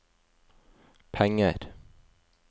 penger